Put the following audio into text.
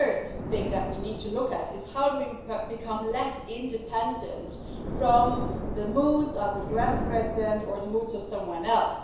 The other thing that we need to look at is how we become more independent from the moods of a US president or the moods of someone else.